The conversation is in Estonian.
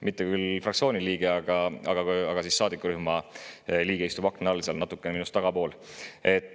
Mitte küll fraktsiooni liige, aga liige, istub seal akna all, minust natuke tagapool.